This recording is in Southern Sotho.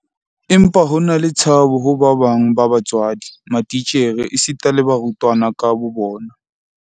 Empa ho na le tshabo ho ba bang ba batswadi, matitjhere esita le barutwana ka bobona.